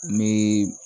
N bɛ